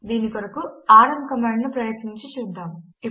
దీని కొరకు rm command ను ప్రయత్నించి చూద్దాం